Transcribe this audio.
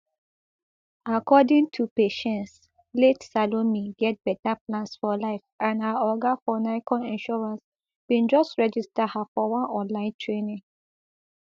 according to patience late salome get beta plans for life and her oga for nicon insurance bin just register her for one online training